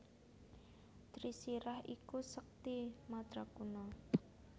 Trisirah iku sekti madraguna